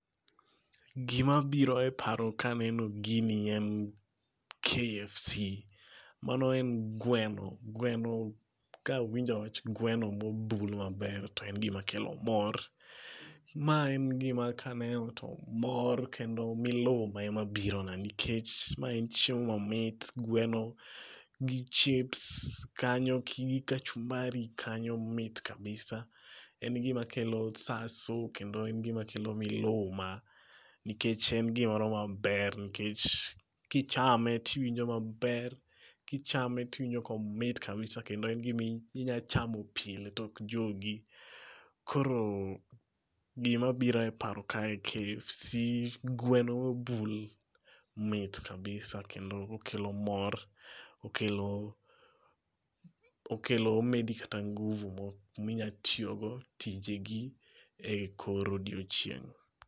Gima biro e paro ka aneno gini en, KFC.Mano en gweno. Gweno kawinjo wach gweno mobul maber to en gima kelo mor. Ma en gima kaneno to mor kendo miluma ema biro na nikech ma en chiemo mamit. Gweno gi chips kanyo gi kachumbari kanyo mit kabisa. En gima kelo sasu kendo en gima kelo miluma nikech en gimoro maber nikech kichame tiwinjo maber kichame tiwinjo komit kabisa kendo en gima inya chamo pile to ok jogi. Koro gima biro e paro kae, KFC,gweno mobul mit kabisa kendo okelo mor, okelo, okelo medi kata nguvu minya tiyo go tije gi e kor odiochieng'